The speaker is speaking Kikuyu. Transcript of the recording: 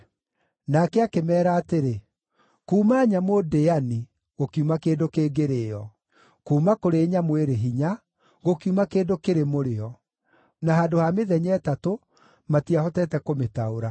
Nake akĩmeera atĩrĩ, “Kuuma nyamũ ndĩani, gũkiuma kĩndũ kĩngĩrĩĩo; kuuma kũrĩ nyamũ ĩrĩ hinya, gũkiuma kĩndũ kĩrĩ mũrĩo.” Na handũ ha mĩthenya ĩtatũ, matiahotete kũmĩtaũra.